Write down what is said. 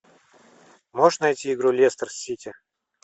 можешь найти игру лестер сити